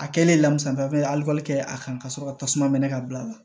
A kɛlen lamusaka ye ali kɛ a kan ka sɔrɔ ka tasuma mɛn ka bila a la